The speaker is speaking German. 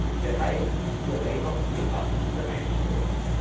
Wir sind bereit, hier weiter unser Fachwissen bereitzustellen.